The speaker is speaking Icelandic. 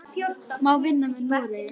Má vinna með Noregi?